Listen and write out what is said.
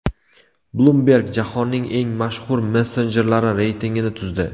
Bloomberg jahonning eng mashhur messenjerlari reytingini tuzdi.